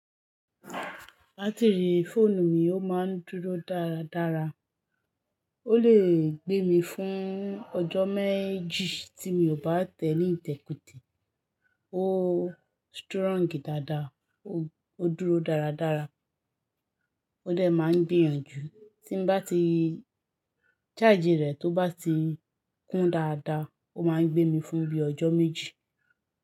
Batiri fóònù mi ó máa ń dúró dára dára. Ó lè gbé mi fún ọjọ́ méjì tí mi ò bá tèníìtèkutè. Ó strong dáadáa, ó dúró dáradára, ó dè máa ń gbìyànjú. Tí n bá ti charge rẹ̀ tó bá ti kún dáadáa, ó máa ń gbé mi fún bíi ọjọ́ méjì.